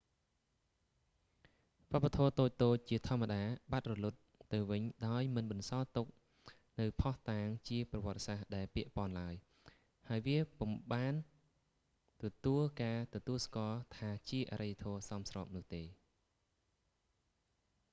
វប្បធម៌តូចៗជាធម្មតាបាត់រលត់ទៅវិញដោយមិនបន្សល់ទុកនូវភស្តុតាងជាប្រវត្តិសាស្ត្រដែលពាក់ព័ន្ធឡើយ ហើយវាពុំបានទទួលការទទួលស្គាល់ថាជាអរិយធម៌សមស្របនោះទេ